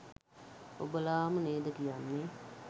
ඔබලාම නේද කියන්නෙ